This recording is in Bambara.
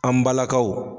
An balakaw